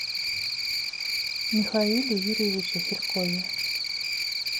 михаиле юрьевиче серкове